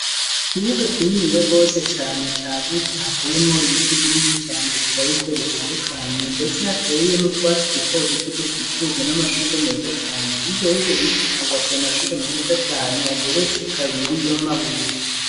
Ikibuga kinini yagose cane ca gutse hateyemo ibiti byinshi cyane bishabirje bitandukanye ndetse hateyemo twatsi dutoduto dukikujwe n'amashurwe meza cyane igeye ibyo biti habubatse amashuri meza cyane ageretse kabiri y'amabuye.